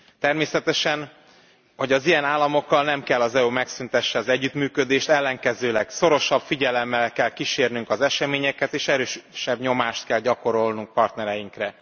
Természetesen az ilyen államokkal nem kell, hogy az EU megszüntesse az együttműködést, ellenkezőleg, szorosabb figyelemmel kell kísérnünk az eseményeket, és erősebb nyomást kell gyakorolnunk a partnereinkre.